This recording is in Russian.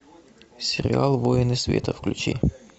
сериал воины света включи